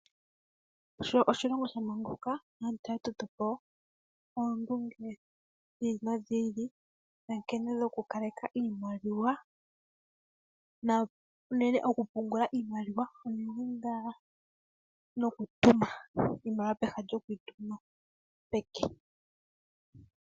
Sho oshilongo sha manguluka aantu oya toto po oondunge dhi ili nodhi ili ya nkene yokukaleka iimaliwa, na unene okupungula iimaliwa unene ngaa nokutuma iimaliwa pehala lyoku yi tuma peke.